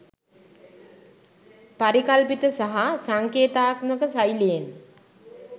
පරිකල්පිත සහ සංකේතාත්මක ශෛලියෙන්